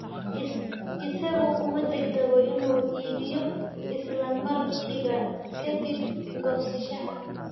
Isagu kuma degdego inuu iibiyo isla markiiba ka dib goosashada.